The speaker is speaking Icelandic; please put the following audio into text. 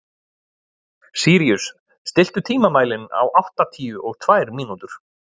Sýrus, stilltu tímamælinn á áttatíu og tvær mínútur.